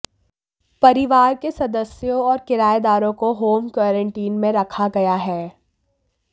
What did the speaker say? परिवार के सदस्यों और किरायेदारों को होम क्वारंटाइन में रखा गया है